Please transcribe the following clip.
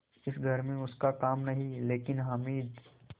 इस घर में उसका काम नहीं लेकिन हामिद